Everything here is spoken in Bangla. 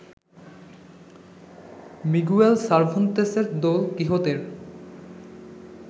মিগুয়েল সার্ভান্তেসের দোল কিহোত-এর